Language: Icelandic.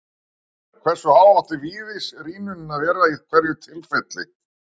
Ef svo er, hversu há átti virðisrýrnunin að vera í hverju tilviki?